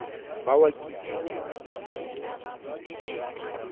ba wa kitikiti kitikiti kitikiti